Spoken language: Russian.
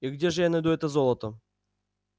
и где же я найду это золото